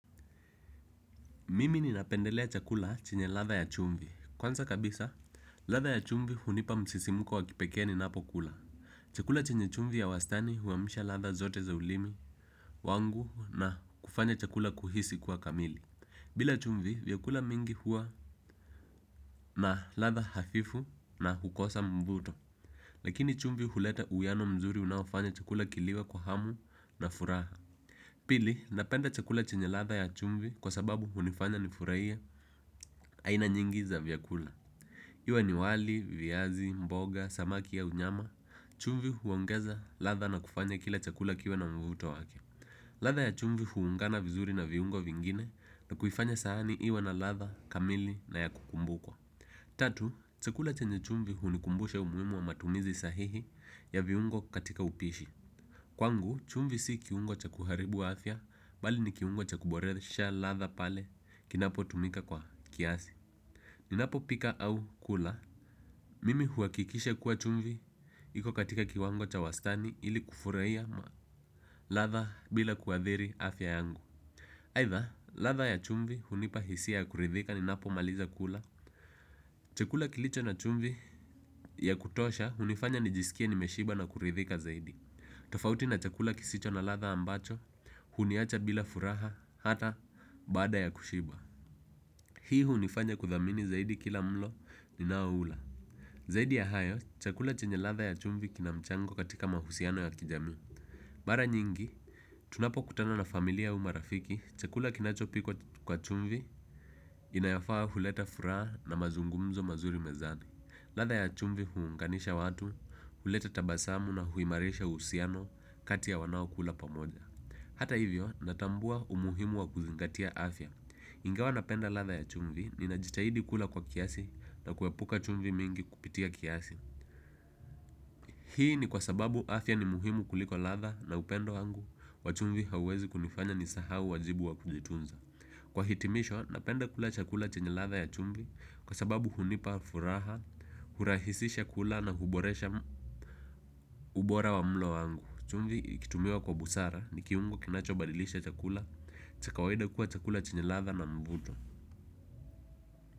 Mimi ninapendelea chakula chenye ladha ya chumvi. Kwanza kabisa, ladha ya chumvi hunipa msisimko wa kipekee ninapokula. Chakula chenye chumvi ya wastani huamsha ladha zote za ulimi wangu na kufanya chakula kuhisi kuwa kamili. Bila chumvi, vyakula mingi huwa na ladha hafifu na hukosa mvuto. Lakini chumvi huleta uwiano mzuri unaofanya chakula kiliwe kwa hamu na furaha. Pili, napenda chakula chenye ladha ya chumvi kwa sababu hnifanya nifurahie aina nyingi za vyakula. Iwe ni wali, viazi, mboga, samaki au nyama. Chumvi huongeza ladha na kufanya kila chakula kiwe na mvuto wake. Ladha ya chumvi huungana vizuri na viungo vingine, na kuifanya sahani iwe na ladha kamili na ya kukumbukwa. Tatu, chakula chenye chumvi hunikumbusha umuhimu wa matumizi sahihi ya viungo katika upishi. Kwangu, chumvi si kiungo cha kuharibu afya, bali ni kiungo cha kuboresha ladha pale kinapotumika kwa kiasi. Ninapopika au kula, mimi huhakikisha kuwa chumvi, iko katika kiwango cha wastani ili kufurahia ladha bila kuathiri afya yangu. Aidha, ladha ya chumvi hunipa hisia ya kuridhika ninapomaliza kula. Chakula kilicho na chumvi ya kutosha hunifanya nijisikie nimeshiba na kuridhika zaidi. Tafauti na chakula kisicho na ladha ambacho, huniacha bila furaha hata baada ya kushiba. Hii hunifanya kuthamini zaidi kila mlo ninaoula. Zaidi ya hayo, chakula chenye ladha ya chumvi kina mchango katika mahusiano ya kijamii. Mara nyingi, tunapokutana na familia au marafiki chakula kinachopikwa kwa chumvi inayofaa huleta furaha na mazungumzo mazuri mezani. Ladha ya chumvi huunganisha watu, huleta tabasamu na huimarisha uhusiano kati ya wanaokula pamoja. Hata hivyo, natambua umuhimu wa kuzingatia afya. Ingawa napenda ladha ya chumvi, ninajitahidi kula kwa kiasi na kuepuka chumvi mingi kupitia kiasi. Hii ni kwa sababu afya ni muhimu kuliko ladha na upendo wangu wa chumvi hauwezi kunifanya nisahau wajibu wa kujitunza. Kwa hitimisho, napenda kula chakula chenye ladha ya chumvi kwa sababu hunipa furaha, hurahisisha kula na huboresha ubora wa mlo wangu. Chumvi ikitumiwa kwa busara, ni kiungo kinachobadilisha chakula cha kawaida kuwa chakula chenye ladha na mvuto.